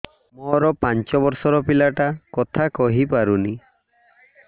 ମୋର ପାଞ୍ଚ ଵର୍ଷ ର ପିଲା ଟା କଥା କହି ପାରୁନି